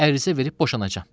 Ərizə verib boşanacam.